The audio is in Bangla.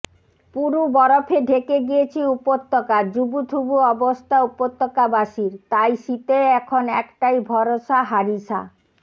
পুরু বরফে ঢেকে গিয়েছে উপত্যকা জুবুথুবু অবস্থা উপত্যকাবাসীর তাই শীতে এখন একটাই ভরসা হারিসা